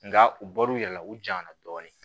Nka u bɔr'u yɛrɛ la u janyana dɔɔni